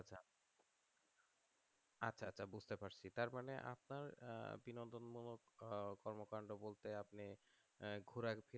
তার মানে আপনার বিনোদন মূলক কর্মকান্ড বলতে আপনি ঘোরা